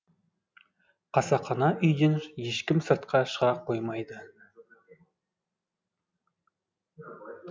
қасақана үйден ешкім сыртқа шыға қоймады